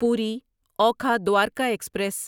پوری اوکھا دوارکا ایکسپریس